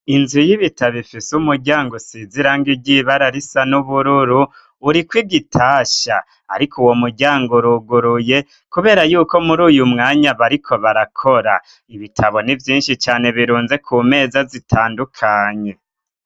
Inzu y'ibitabo ifise umuryango usize irangi ry'ibara risa n'ubururu, urikw'igitasha. Ariko uwo muryango uruguruye kubera yuko muri uyu mwanya bariko barakora. Ibitabo nivyinshi cane birunze ku meza zitandukanye.